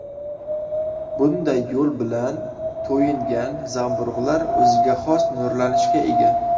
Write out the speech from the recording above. Bunday yo‘l bilan to‘yingan zamburug‘lar o‘ziga xos nurlanishga ega.